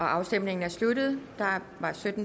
afstemningen er sluttet